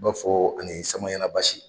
I b'a fɔ ani Samaɲana Basi